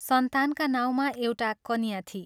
सन्तानका नाउँमा एउटा कन्या थिई।